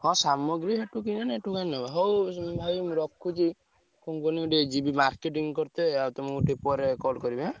ହଁ ସାମଗ୍ରୀ ସେଠୁ କିଣିଆ ନାଁ ଏଠୁ କାଇଁ ନବ ହଉ ଭାଇ ମୁଁ ରଖୁଛି ମୁଁ ଟିକେ ଯିବି marketing କର୍ତେ ଆଉ ତମକୁ ଟିକେ ପରେ call କରିବି ହାଁ।